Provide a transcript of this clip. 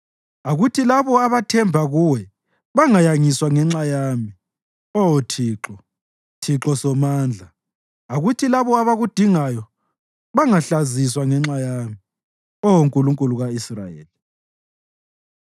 Akuthi labo abathemba kuwe bangayangiswa ngenxa yami, Oh Thixo, Thixo Somandla; akuthi labo abakudingayo, bangahlaziswa ngenxa yami, Oh Nkulunkulu ka-Israyeli.